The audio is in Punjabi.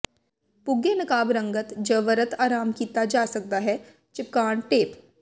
ਪੁੱਗੇ ਨਕਾਬ ਰੰਗਤ ਜ ਵਰਤ ਆਰਾਮ ਕੀਤਾ ਜਾ ਸਕਦਾ ਹੈ ਿਚਪਕਣ ਟੇਪ